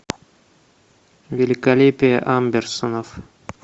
великолепие амберсонов